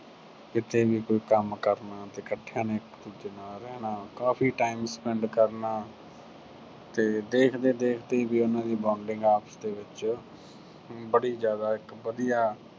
ਕਿਤੇ ਵੀ ਕੋਈ ਕੰਮ ਕਰਨਾ ਤੇ ਇੱਕਠਿਆਂ ਨੇ ਇੱਕ ਦੂਜੇ ਨਾਲ ਰਹਿਣਾ, ਕਾਫੀ time spend ਤੇ ਦੇਖਦੇ-ਦੇਖਦੇ ਵੀ ਉਹਨਾਂ ਦੀ bonding ਆਪਸ ਦੇ ਵਿੱਚ ਬੜੀ ਜਿਆਦਾ ਇੱਕ ਵਧੀਆ